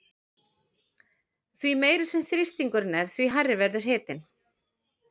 Því meiri sem þrýstingurinn er því hærri verður hitinn.